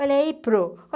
Olha aí prô.